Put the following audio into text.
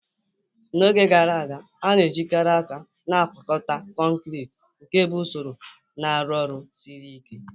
N'oge gara aga, a na-ejikarị aka na-agwakọta kọnkịtị, nke bụ usoro na-arụ ọrụ siri ike